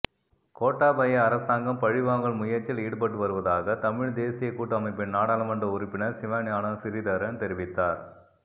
கோட்டாபய அரசாங்கம் பழிவாங்கல் முயற்சியில் ஈடுபட்டு வருவதாக தமிழ் தேசியக் கூட்டமைப்பின் நாடாளுமன்ற உறுப்பினர் சிவஞானம் சிறிதரன் தெரிவித்தார்